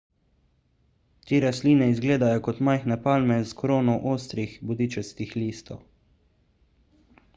te rastline izgledajo kot majhne palme s krono ostrih bodičastih listov